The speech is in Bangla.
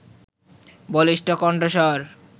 বলিষ্ঠ কণ্ঠস্বর